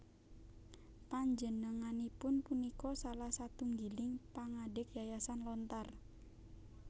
Panjenenganipun punika salah satunggiling pangadeg Yayasan Lontar